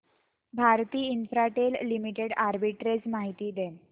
Bharti Infratel limited arbitrage माहिती दे